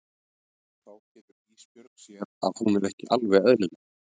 Og þá getur Ísbjörg séð að hún er ekki alveg eðlileg.